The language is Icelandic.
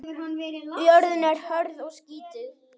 Jörðin er hörð og skítug.